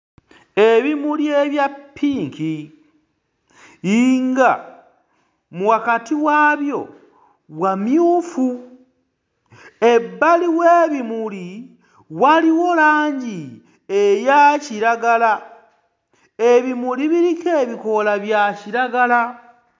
Ebimuli ebya ppinki nga wakati waabyo wamyufu. Ebbali w'ebimuli waliwo langi eya kiragala, ebimuli biriko ebikoola bya kiragala.